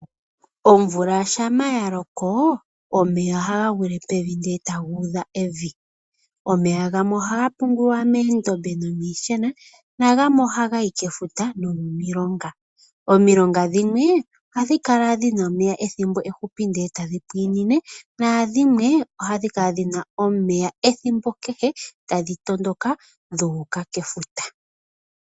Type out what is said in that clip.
Omvula shampa yaloko omeya ohaga gwile pevi ndee tanguudha evi. Omeya gamwe ohaga pungulwa noondombe nomiishina na gamwe oha gayi kefuta nokomilonga. Omilonga dhimwe ohadhi kala dhina omeya ethimbo ehupi ndele etadhi pwiinine nadhimwe ohadhikala dhina omeya ethimbo kehe tadhi tondoka dhuuka kefuta.